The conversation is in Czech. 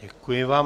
Děkuji vám.